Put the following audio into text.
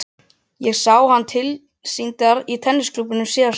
Ég sá hana tilsýndar í tennisklúbbnum um síðustu helgi.